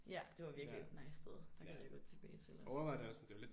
Ja det var virkelig et nice sted der gad jeg godt tilbage til også